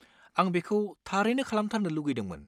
आं बेखौ थारैनो खालामथारनो लुगैदोंमोन।